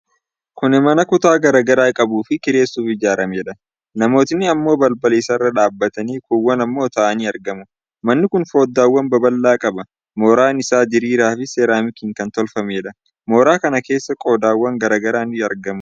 Kuni mana kutaa garaa garaa qabuufii kireessuuf ijaarameedha. Namooti ammoo balbala isaarra dhabaatanii, kuuwwan ammo taa'anii argamu. Manni kun foddaawwan babal'aa qaba. Mooraan isaa diriiraa fi seeramikiin kan tolfafameedha. Mooraa kana keessa qodaawwan garaa garaa ni argamu.